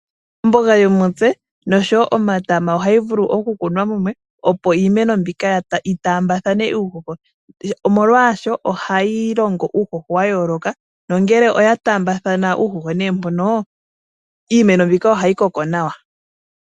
Omboga yuushimba osho wo omatama ohayi vulu oku kunwa mumwe opo iimeno mbika yi taambathane uuhoho, molwaasho ohayi longo uuhoho wa yooloka nongele oya taambathana uuhoho mbono iimeno mbika ohayi koko nawa.